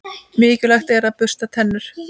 Mikilvægt er að bursta tennur.